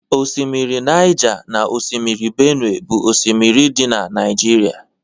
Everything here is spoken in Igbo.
osimiri Niger na osimiri Benue bu osimiri di na Naijiria